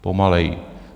Pomaleji.